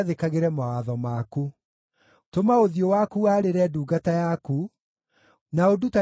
Tũma ũthiũ waku warĩre ndungata yaku, na ũndutage kĩrĩra kĩa watho waku.